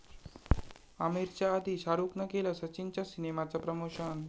आमिरच्या आधी शाहरूखनं केलं सचिनच्या सिनेमाचं प्रमोशन